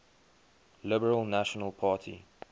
liberal national party